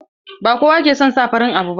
Ba kowa ke son sa farin abu ba.